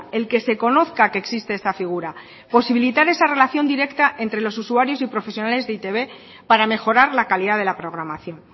el que se conozca que existe esta figura posibilitar esa relación directa entre los usuarios y profesionales de e i te be para mejorar la calidad de la programación